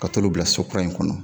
Ka t'olu bila so kura in kɔnɔ